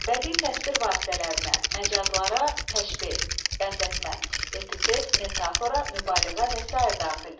Bədii təsvir vasitələrinə, məcazlara təşbeh, bənzətmə, epitet, metafora, mübaliğə və sair daxildir.